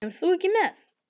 Kemur þú ekki með?